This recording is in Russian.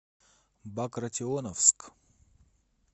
багратионовск